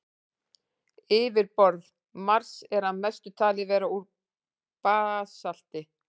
Yfirborð Mars er að mestu talið vera úr basalti.